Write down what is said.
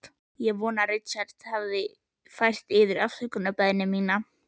Ég vona að Richard hafi fært yður afsökunarbeiðni mína.